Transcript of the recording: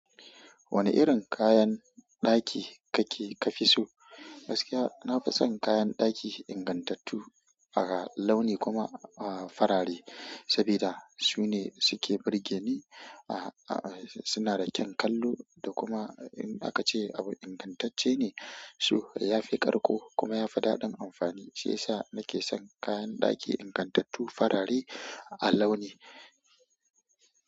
Wane irin kayan ɗaki kake ka fi so? Gaskiya, na fi son kayan ɗaki ingantattu, haka launi kuma, ah, farare. Sabida su ne suke burge ni, ah, ah, suna da kyan kallo da kuma, in aka ce abu ingantacce ne, so ya fi ƙarko kuma ya fi daɗin amfani. Shi yasa na ke son kayan ɗaki ingantattu farare a launi.